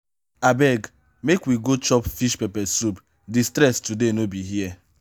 abeg make we go chop fish pepper soup di stress today no be here.